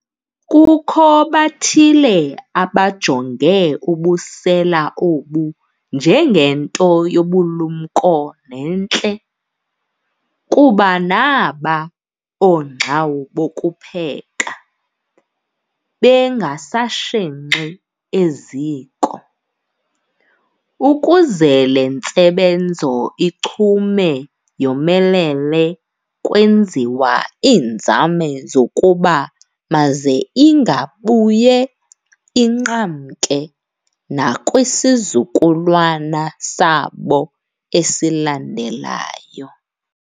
Kukho bathile abajonge ubusela obu nje ngento yobulumko nentle, kuba naaba oongxawu bokupheka, bengasashenxi eziko. Ukuze le ntsebenzo ichume yomelele kwenziwa iinzame zokuba maze ingabuye inqamke nakwisizukulwana sabo esilandelayo.